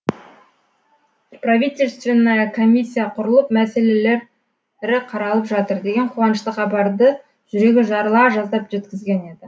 правительственная комиссия құрылып мәселелері қаралып жатыр деген қуанышты хабарды жүрегі жарыла жаздап жеткізген еді